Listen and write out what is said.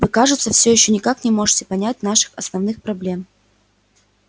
вы кажется всё ещё никак не можете понять наших основных проблем